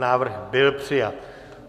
Návrh byl přijat.